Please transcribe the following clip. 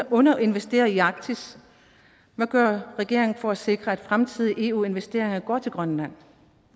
underinvesterer i arktis hvad gør regeringen for at sikre at fremtidige eu investeringer går til grønland